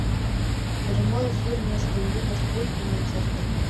прямой эфир между ливерпуль и манчестер